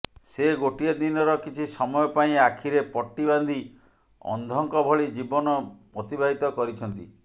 ସେ ଗୋଟିଏ ଦିନର କିଛି ସମୟ ପାଇଁ ଆଖିରେ ପଟି ବାନ୍ଧି ଅନ୍ଧଙ୍କ ଭଳି ଜୀବନ ଅତିବାହିତ କରିଛନ୍ତି